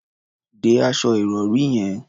De aṣọ ìrọ̀rí yẹn.